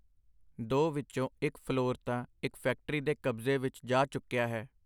ਦੋ ਵਿਚੋਂ ਇਕ ਫਲੋਰ ਤਾਂ ਇਕ ਫੈਕਟਰੀ ਦੇ ਕਬਜ਼ੇ ਵਿਚ ਜਾ ਚੁੱਕਿਆ ਹੈ.